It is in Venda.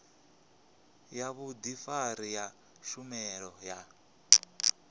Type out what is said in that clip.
ya vhudifari ya tshumelo ya